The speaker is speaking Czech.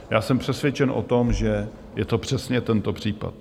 Já jsem přesvědčen o tom, že je to přesně tento případ.